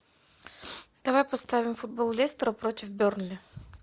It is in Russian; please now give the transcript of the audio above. давай поставим футбол лестера против бернли